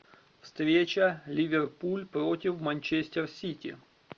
встреча ливерпуль против манчестер сити